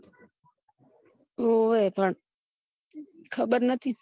ઓવે પણ ખબર નતી